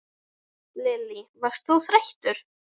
Lillý: Varst þú þreyttur?